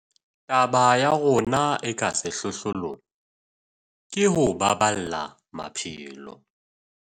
Taba ya rona e ka sehlohlolong ke ho baballa maphelo.